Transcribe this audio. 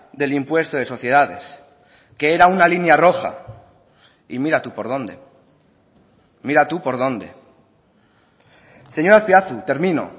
del impuesto de sociedades que era una línea roja y mira tú por dónde mira tú por dónde señor azpiazu termino